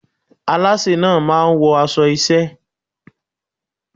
Alásè náà máa wọ aṣọ iṣẹ́ ẹ́.